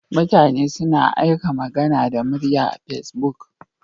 Mutane suna aika magana da murya Facebook.